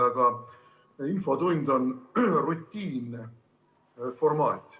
Aga infotund on rutiinne formaat.